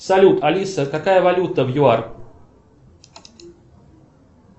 салют алиса какая валюта в юар